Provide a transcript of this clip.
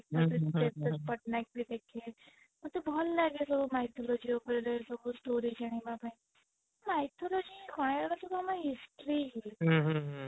ପଟନାୟକ ବି ଦେଖେ ମତେ ଭଲ ଲାଗେ ସବୁ mythology ଉପରେ ସବୁ story ଜାଣିବା ପାଇଁ mythology କହିବାକୁ ଗଲେ history ହି ହୁଁ ହୁଁ